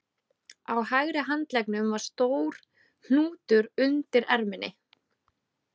Á hægri handleggnum var stór hnútur undir erminni